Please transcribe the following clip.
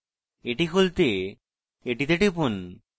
এটি খুলতে এটিতে টিপুন